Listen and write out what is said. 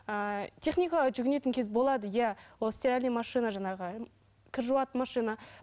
ыыы техникаға жүгінетін кез болады иә ол стиральная машина жаңағы кір жуатын машина